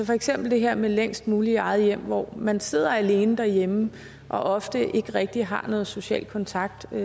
for eksempel det her med længst muligt i eget hjem hvor man sidder alene derhjemme og ofte ikke rigtig har nogen social kontakt er